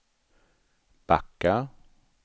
backa